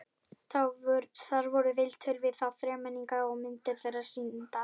Þar voru viðtöl við þá þremenninga og myndir þeirra sýndar.